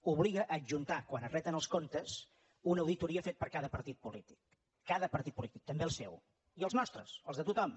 obliga a adjuntar quan es reten els comptes una auditoria feta per cada partit polític cada partit polític també el seu i els nostres els de tothom